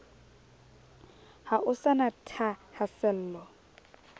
ha o sa na thahasello